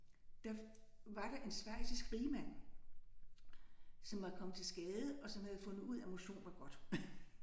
Der var der en schweizisk rigmand som var kommet til skade og som havde fundet ud af motion var godt